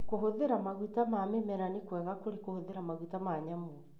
Kũhũthĩra maguta ma mĩmera nĩ kwega kũrĩ kũhũthira maguta ma nyamũ.